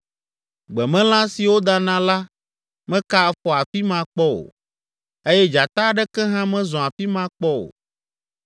Gbemelã siwo dana la meka afɔ afi ma kpɔ o, eye dzata aɖeke hã mezɔ afi ma kpɔ o.